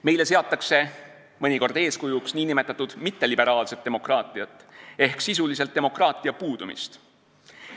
Meile seatakse mõnikord eeskujuks nn mitteliberaalset demokraatiat ehk sisuliselt demokraatia puudumist.